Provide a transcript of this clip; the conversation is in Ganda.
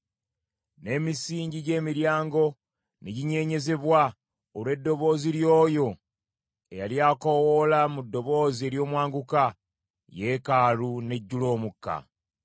N’emisingi gy’emiryango ne ginyeenyezebwa olw’eddoboozi ly’oyo eyali akoowoola mu ddoboozi ery’omwanguka, yeekaalu n’ejjula omukka.